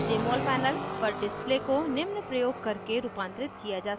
jmol panel पर display को निम्न प्रयोग करके रूपांतरित किया जा सकता है